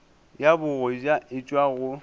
ya bogoja e tšwa go